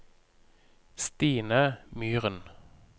Stine Myren